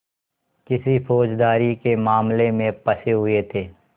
किसी फौजदारी के मामले में फँसे हुए थे